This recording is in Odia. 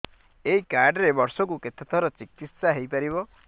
ଏଇ କାର୍ଡ ରେ ବର୍ଷକୁ କେତେ ଥର ଚିକିତ୍ସା ହେଇପାରିବ